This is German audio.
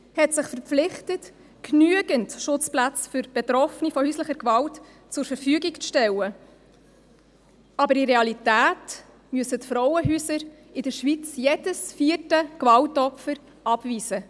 Die Schweiz hat sich verpflichtet, genügend Schutzplätze für Betroffene von häuslicher Gewalt zur Verfügung zu stellen, aber in der Realität müssen die Frauenhäuser in der Schweiz jedes vierte Gewaltopfer abweisen.